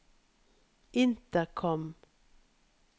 intercom